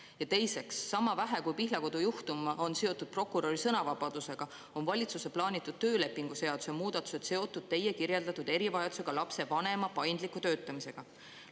Ja teiseks, sama vähe, kui Pihlakodu juhtum on seotud prokuröri sõnavabadusega, on valitsuse plaanitud töölepingu seaduse muudatused seotud teie kirjeldatud erivajadusega lapse vanema paindliku töötamisega.